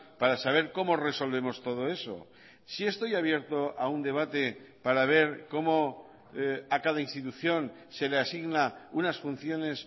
para saber cómo resolvemos todo eso sí estoy abierto a un debate para ver cómo a cada institución se le asigna unas funciones